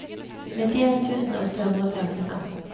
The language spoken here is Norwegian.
nittien tusen åtte hundre og førtifem